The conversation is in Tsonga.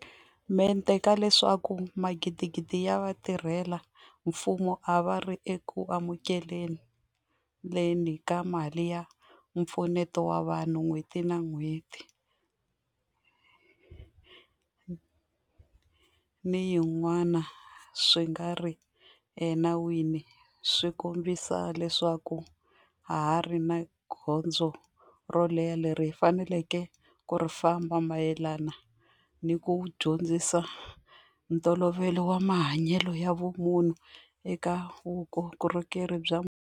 Mente ka leswaku magidigidi ya vatirhela mfumo a va ri eku amukele ni ka mali ya mpfuneto wa vanhu n'hweti yin'wana ni yin'wana swi nga ri enawini swi kombisa leswaku ha ha ri ni gondzo ro leha leri hi faneleke ku ri famba mayelana ni ku dyondzisa ntolovelo wa mahanyelo ya vumunhu eka vukorhokeri bya mfumo.